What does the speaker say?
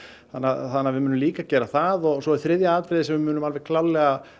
þannig að við munum líka gera það svo er þriðja atriðið sem við munum alveg klárlega